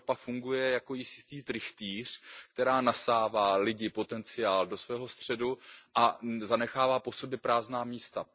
Evropa funguje jako jistý trychtýř, který nasává lidi, potenciál do svého středu a zanechává po sobě prázdná místa.